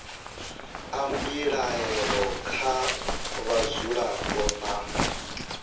a mbilaelo kha vhadzulapo nna